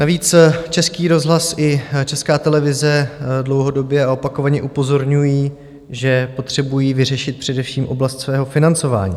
Navíc Český rozhlas i Česká televize dlouhodobě a opakovaně upozorňují, že potřebují vyřešit především oblast svého financování.